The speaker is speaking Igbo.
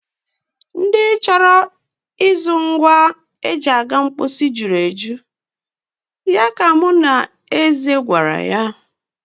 Ndị chọrọ ịzụ ngwa e ji aga mposi juru eju, ya ka mụ na Eze gwara Ada.